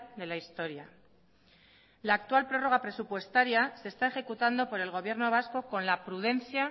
de la historia la actual prórroga presupuestaria se está ejecutando por el gobierno vasco con la prudencia